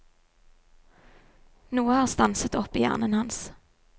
Noe har stanset opp i hjernen hans.